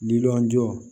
Lili jɔ